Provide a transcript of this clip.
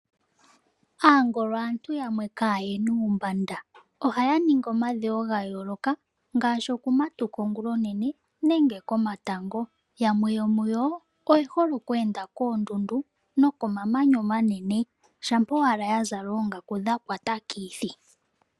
Aangolo aantu yamwe kayena uumbanda. Ohaya ningi omadhewo ga yooloka ngaashi oku matuka ongula onene nenge komatango. Yamwe yomuyo oye hole oku enda koondundu noko mamanya omanene na ohaya kala ya zala oongaku dha kwata kithi.